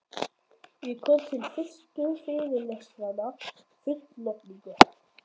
Ég kom til fyrstu fyrirlestranna full lotningar.